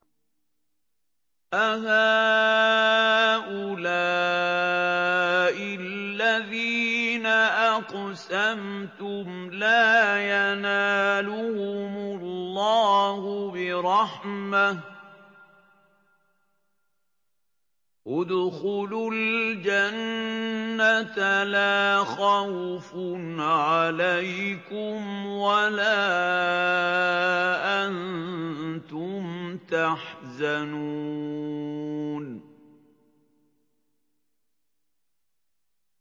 أَهَٰؤُلَاءِ الَّذِينَ أَقْسَمْتُمْ لَا يَنَالُهُمُ اللَّهُ بِرَحْمَةٍ ۚ ادْخُلُوا الْجَنَّةَ لَا خَوْفٌ عَلَيْكُمْ وَلَا أَنتُمْ تَحْزَنُونَ